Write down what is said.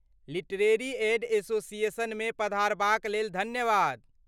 Literary aid एसोसिएशनमे पधारबाक लेल धन्यवाद।